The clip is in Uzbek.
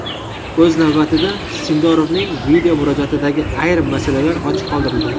O‘z navbatida Sindorovning video murojaatidagi ayrim masalalar ochiq qoldirildi.